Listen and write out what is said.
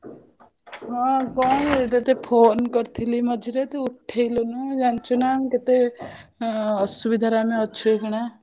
ହଁ କଣ କରୁଛୁ ତତେ ଫୋନ କରିଥିଲି ମଝିରେ ତୁ ଉଠେଇଲୁନି ଜାଣିଛୁ ନା ମୁଁ କେତେ ଅସୁବିଧା ରେ ଆମେ ଅଛୁ ଏଇଖିନା।